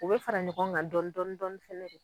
U bɛ fara ɲɔgɔn kan dɔɔni dɔɔni dɔɔni fɛnɛ.